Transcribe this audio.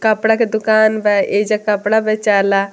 कपड़ा के दुकान बा | एइजा कपड़ा बेचाइला।